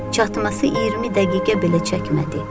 Çatması 20 dəqiqə belə çəkmədi.